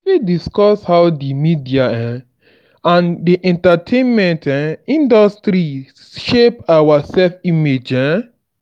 you fit discuss how di media um and and entertainment um industries shape our self-image. um